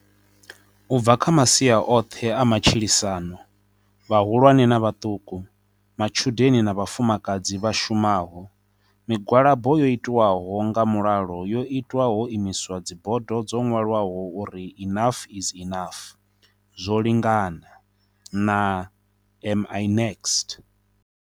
U bva kha masia oṱhe a matshilisano, vhahulwane na vhaṱuku, matshudeni na vhafumakadzi vha shumaho, migwalabo yo itwaho nga mulalo yo itwa ho imiswa dzibodo dzo ṅwalwaho uri Enough is Enough, Zwo linganana Am I next?